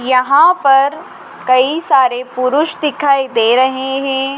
यहां पर कई सारे पुरुष दिखाई दे रहे हैं।